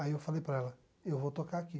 Aí eu falei para ela, eu vou tocar aqui.